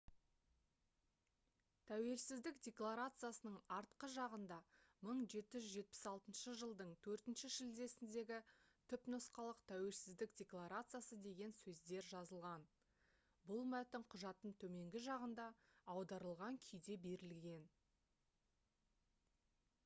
тәуелсіздік декларациясының артқы жағында «1776 жылдың 4 шілдесіндегі түпнұсқалық тәуелсіздік декларациясы» деген сөздер жазылған. бұл мәтін құжаттың төменгі жағында аударылған күйде берілген